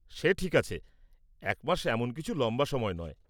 -সে ঠিক আছে, এক মাস এমন কিছু লম্বা সময় নয়।